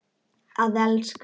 Að elska.